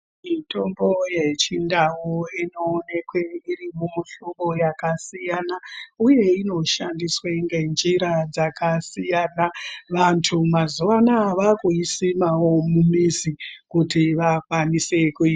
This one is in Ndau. Mitombo ye chindau ino onekwe iri mumu hlobo yaka siyana uye inoshandiswe nge njira dzaka siyana vantu mazuva anaya vakui simawo mu mizi kuti vakwanise kuyi.